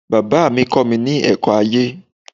Bàbá mi kọ́mi ní ẹ̀kọ́ ayé